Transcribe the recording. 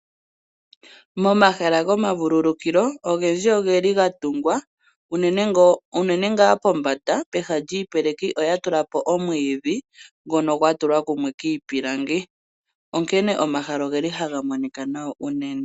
Momahala gomavululukilo ogendji ogeli gatungwa unene ngaa pombanda pehala lyiipeleki oyatula po omwiidhi ngono gwatulwa kumwe kiipilangi . Onkene omahala ogeli haga monika nawa unene.